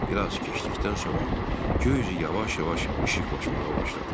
Bir az keçdikdən sonra göy üzü yavaş-yavaş işıqlanmağa başladı.